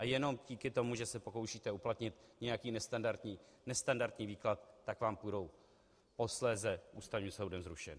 A jenom díky tomu, že se pokoušíte uplatnit nějaký nestandardní výklad, tak vám budou posléze Ústavním soudem zrušeny.